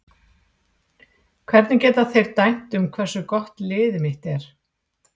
Hvernig geta þeir dæmt um hversu gott liðið mitt er?